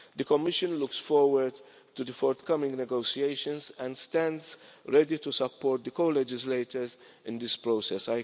The Commission looks forward to the forthcoming negotiations and stands ready to support the co-legislators in this process.